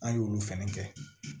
An y'olu fɛnɛ kɛ